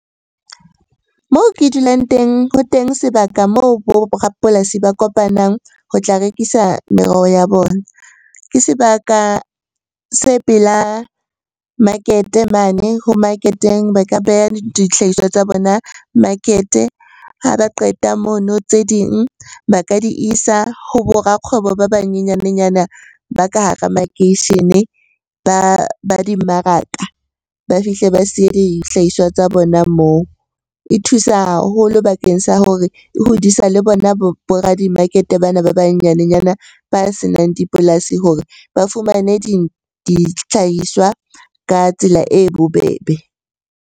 Moo ke dulang teng ho teng sebaka moo bo rapolasi ba kopanang ho tla rekisa meroho ya bona. Ke sebaka se pela market-e mane ho market-eng, ba ka beha dihlahiswa tsa bona market-e. Ha ba qeta mono tse ding ba ka di isa ho bo rakgwebo ba banyenyane nyana ba ka hara makeishene ba dimmaraka ba fihle ba siye dihlahiswa tsa bona moo. E thusa haholo bakeng sa hore e hodisa le bona bo radi-market-e bana ba banyanenyana ba senang dipolasi hore ba fumane ditlhahiswa ka tsela e bobebe.